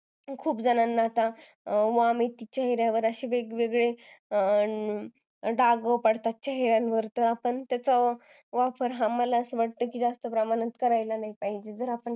खूप जणांना असे वेगवेगळ्या चेहऱ्यावर वांग येतात किंवा डाग येतात त्याच्यामुळे आपण त्याचा जास्त वापर करायला नाही पाहिजे